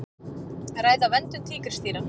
Ræða verndun tígrisdýra